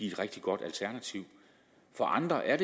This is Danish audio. et rigtig godt alternativ for andre er